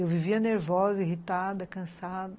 Eu vivia nervosa, irritada, cansada.